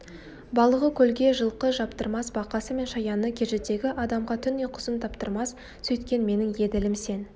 балығы көлге жылқы жаптырмас бақасы мен шаяны кежідегі адамға түн ұйқысын таптырмас сөйткен менің еділім сен